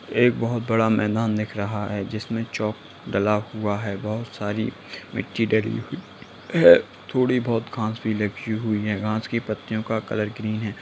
एक बहुत बड़ा मैदान दिख रहा है जिसमें चॉक डला हुआ है बहुत सारी मिट्टी डली हुई है थोड़ी बहुत घांस भी लगी हुई है घांस की पत्तियों का कलर ग्रीन है।